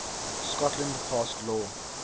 scotland passed law